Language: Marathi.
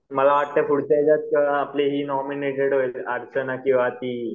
मला वाटतं पुढच्या याच्यात ही नॉमिनेटेड होईल अर्चना किंवा ती